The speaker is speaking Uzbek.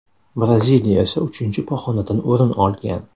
Braziliya esa uchinchi pog‘onadan o‘rin olgan.